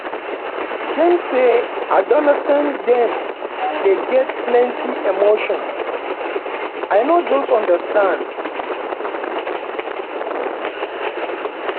dem say adolescent dem dey get plenty emotion i no just understand